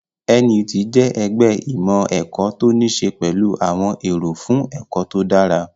NUT jẹ́ ẹgbẹ́ ìmọ̀ ẹ̀kọ́ tó ní ṣe pẹ̀lú àwọn èrò fún ẹ̀kọ́ tó dára